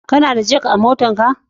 Kana da jak a motarka?